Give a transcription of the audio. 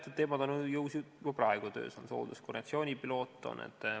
Teatud teemad on ju juba praegu töös, näiteks hoolduskoordinatsiooni pilootprojekt.